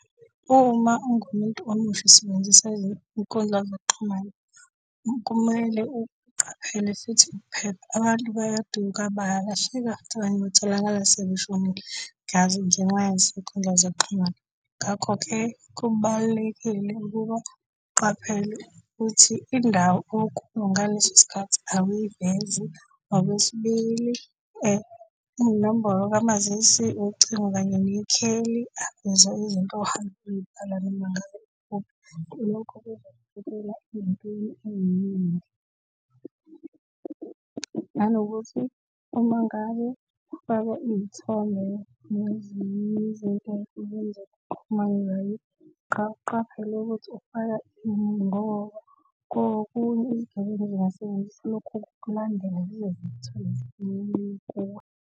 Uma ungumuntu omusha usebenzisa izinkundla zokuxhumana, kumele uqaphele futhi uphephe. Abantu bayaduka, bayalahleka, abanye batholakala sebeshonile. ngenxa yezinkundla zokuxhumana, ngakho-ke kubalulekile ukuba uqaphele ukuthi indawo okuyo ngaleso sikhathi awuyivezi, okwesibili inombolo kamazisi, ucingo kanye nekheli akuzo izinto ohamba uzibhala noma ngabe yikuphi. Lokho , nanokuthi uma ngabe ufake izithombe nezinye izinto uqaphele ukuthi ufaka ini ngoba kokunye izigebengu zinga sebenzisa lokhu ukulandela zize zikuthole .